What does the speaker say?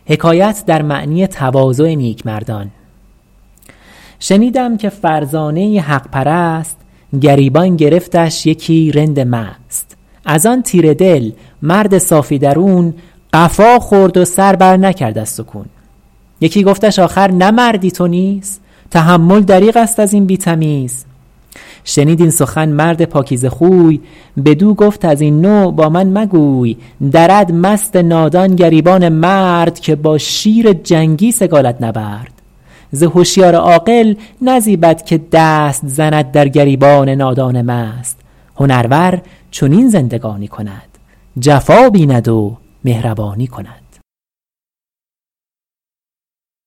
شنیدم که فرزانه ای حق پرست گریبان گرفتش یکی رند مست از آن تیره دل مرد صافی درون قفا خورد و سر بر نکرد از سکون یکی گفتش آخر نه مردی تو نیز تحمل دریغ است از این بی تمیز شنید این سخن مرد پاکیزه خوی بدو گفت از این نوع با من مگوی درد مست نادان گریبان مرد که با شیر جنگی سگالد نبرد ز هشیار عاقل نزیبد که دست زند در گریبان نادان مست هنرور چنین زندگانی کند جفا بیند و مهربانی کند